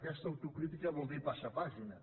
aquesta autocrítica vol dir pas·sar pàgina